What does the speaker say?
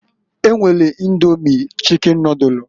E nwere Indomi chicken nodulu.